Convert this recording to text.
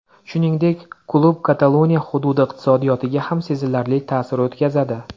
Shuningdek, klub Kataloniya hududi iqtisodiyotiga ham sezilarli ta’sir o‘tkazadi.